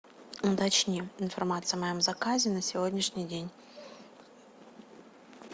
уточни информацию о моем заказе на сегодняшний день